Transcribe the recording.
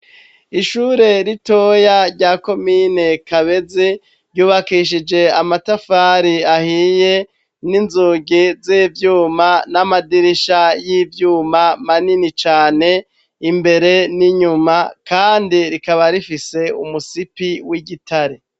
Ishure ritoya rya komine kabeze ryubakishije amatafari ahiye n'inzuge z'ivyuma n'amadirisha y'ivyuma manini cane imbere n'inyuma, kandi rikaba rifise umusipi w'igitare.